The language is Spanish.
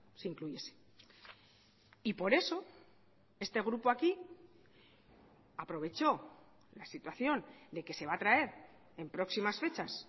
se incluyese y por eso este grupo aquí aprovechó la situación de que se va a traer en próximas fechas